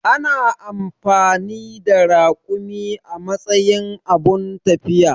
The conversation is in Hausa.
Ana amfani da rakumi a matsayin abun tafiya.